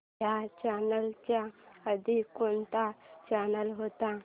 ह्या चॅनल च्या आधी कोणता चॅनल होता